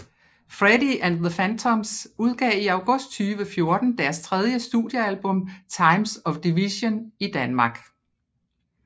Freddy and the Phantoms udgav i august 2014 deres tredje studiealbum Times of Division i Danmark